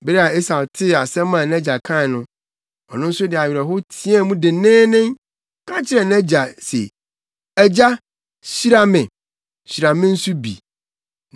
Bere a Esau tee asɛm a nʼagya kae no, ɔno nso de awerɛhow teɛɛ mu denneennen, ka kyerɛɛ nʼagya se, “Agya! Hyira me. Hyira me nso bi!”